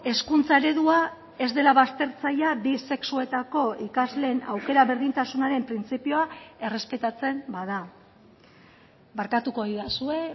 hezkuntza eredua ez dela baztertzailea bi sexuetako ikasleen aukera berdintasunaren printzipioa errespetatzen bada barkatuko didazue